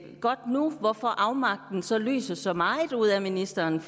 godt nu hvorfor afmagten så lyser så meget ud af ministeren